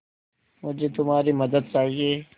मुझे तुम्हारी मदद चाहिये